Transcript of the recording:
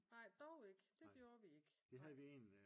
Nej dog ikke det gjorde vi ikke nej